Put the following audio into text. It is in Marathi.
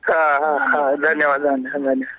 हा हा धन्यवाद धन्यवाद